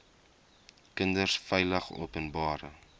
kinders veilig openbare